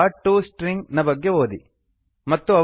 ಪ್ಲೋಟ್ಟುಸ್ಟ್ರಿಂಗ್ನ ಬಗ್ಗೆ ಓದಿ